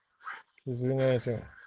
извиняйте